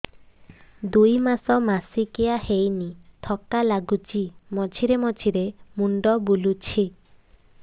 ଦୁଇ ମାସ ମାସିକିଆ ହେଇନି ଥକା ଲାଗୁଚି ମଝିରେ ମଝିରେ ମୁଣ୍ଡ ବୁଲୁଛି